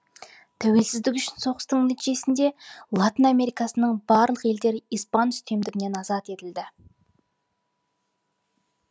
тәуелсіздік үшін соғыстың нәтижесінде латын америкасының барлық елдері испан үстемдігінен азат етілді